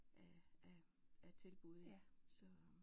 Af af af tilbud ik så